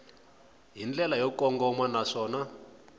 hi ndlela yo kongoma naswona